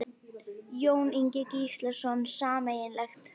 Jón Ingi Gíslason: Sameiginlegt?